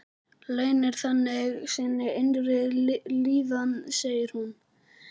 Leynir þannig sinni innri líðan, segir hún.